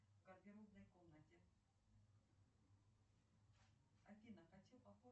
салют где учился ведяхин